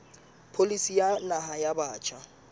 pholisi ya naha ya batjha